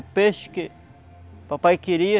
O peixe que o papai queria,